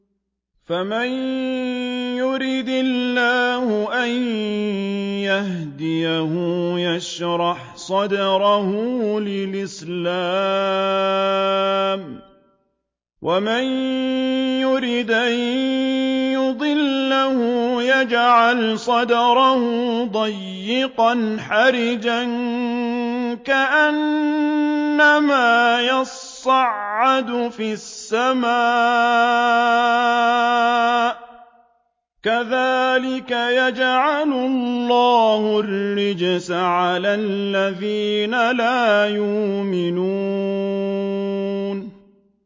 فَمَن يُرِدِ اللَّهُ أَن يَهْدِيَهُ يَشْرَحْ صَدْرَهُ لِلْإِسْلَامِ ۖ وَمَن يُرِدْ أَن يُضِلَّهُ يَجْعَلْ صَدْرَهُ ضَيِّقًا حَرَجًا كَأَنَّمَا يَصَّعَّدُ فِي السَّمَاءِ ۚ كَذَٰلِكَ يَجْعَلُ اللَّهُ الرِّجْسَ عَلَى الَّذِينَ لَا يُؤْمِنُونَ